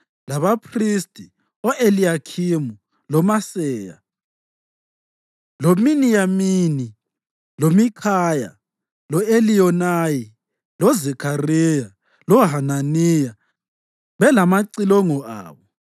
labaphristi o-Eliyakhimu, loMaseya, loMiniyamini, loMikhaya, lo-Eliyonayi, loZakhariya loHananiya belamacilongo abo